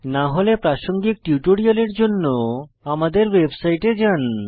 না হলে প্রাসঙ্গিক টিউটোরিয়ালের জন্য আমাদের ওয়েবসাইটে যান